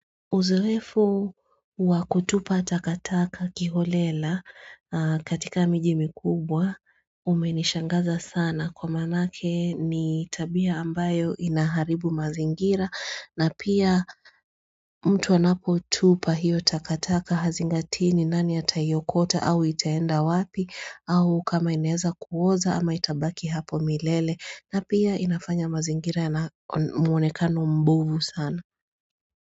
Uzoefu wa kutupa takataka kiholela katika miji mikubwa umenishangaza sana kwa manake ni tabia ambayo inaharibu mazingira na pia mtu anapo tupa hiyo takataka hazingatii ni nani ataiokota au itaenda wapi au kama inaweza kuoza ama itabaki hapo milele na pia inafanya mazingira na mwonekano mbuvu sana.